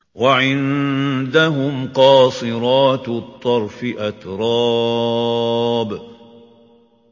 ۞ وَعِندَهُمْ قَاصِرَاتُ الطَّرْفِ أَتْرَابٌ